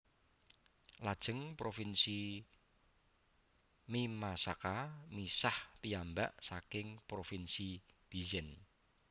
Lajeng Provinsi Mimasaka misah piyambak saking Provinsi Bizen